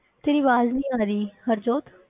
ਤੇਰੀ ਆਵਾਜ਼ ਨਹੀਂ ਆ ਰਹੀ ਹਰਜੋਤ।